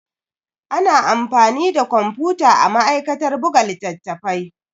Ana amfani da kwamfuta a ma'aikatar buga littattafai.